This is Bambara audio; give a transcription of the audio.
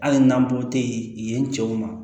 Hali n'an bɔ tɛ yen yen cɛw ma